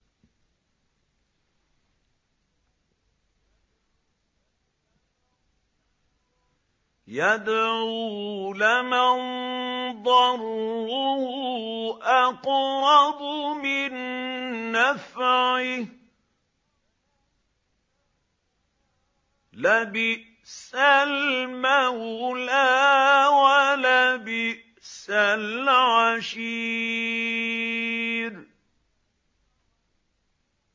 يَدْعُو لَمَن ضَرُّهُ أَقْرَبُ مِن نَّفْعِهِ ۚ لَبِئْسَ الْمَوْلَىٰ وَلَبِئْسَ الْعَشِيرُ